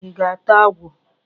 Ị ga-ata agwọ?